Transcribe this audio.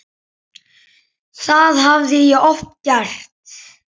Það hafði ég oft gert.